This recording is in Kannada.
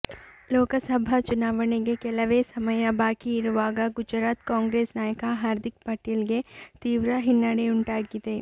ಲೋಕಸಭಾ ಚುನಾವಣೆಗೆ ಕೆಲವೇ ಸಮಯ ಬಾಕಿ ಇರುವಾಗ ಗುಜರಾತ್ ಕಾಂಗ್ರೆಸ್ ನಾಯಕ ಹಾರ್ದಿಕ್ ಪಟೇಲ್ ಗೆ ತೀವ್ರ ಹಿನ್ನಡೆಯುಂಟಾಗಿದೆ